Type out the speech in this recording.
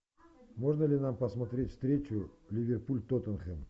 можно ли нам посмотреть встречу ливерпуль тоттенхэм